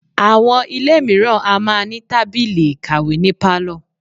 Àwọn ilé mìíràn a máa ní tábìlì ìkàwé ní pálọ̀.